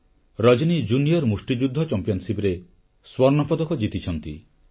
ରଜନୀ junior ମୁଷ୍ଟିଯୁଦ୍ଧ ଚାମ୍ପିଅନସିପରେ ସ୍ୱର୍ଣ୍ଣପଦକ ଜିତିଛନ୍ତି